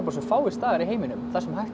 svo fáir staðir í heiminum þar sem er hægt